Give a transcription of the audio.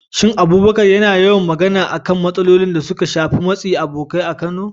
Shin Abubakar yana yawan magana akan matsalolin da suka shafi matsin abokai a Kano?